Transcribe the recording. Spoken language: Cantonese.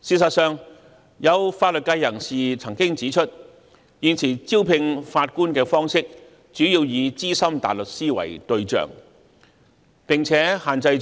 事實上，有法律界人士曾經指出，現時招聘法官的方式主要以資深大律師為對象，並只限在